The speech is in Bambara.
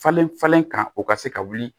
Falen falen kan o ka se ka wuli